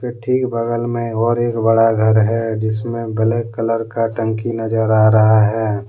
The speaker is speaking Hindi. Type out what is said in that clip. ठीक बगल में और एक बड़ा घर है जिसमें ब्लैक कलर का टंकी नजर आ रहा है ।